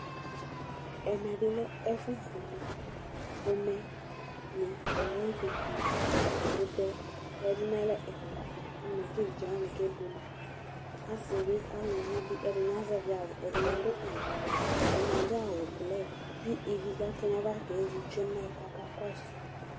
ɛmɛ bi lɛ ɛfu buele ƒomɛ ni ayi ɛfu buele ɛkutɛ ya du n'alɛ ɛla n'ɛmɛ k'evidze wani ke buele asi bi aluvi bi ɛdini azɛvi awu ɛdini adu awu wɛ ɛdini adu awu blu k'ivi ka to n'ava ke zi tsue k'aka kɔsu